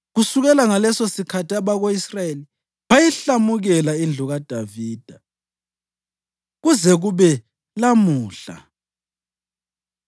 Kusukela ngalesosikhathi abako-Israyeli bayihlamukela indlu kaDavida kuze kube lamuhla.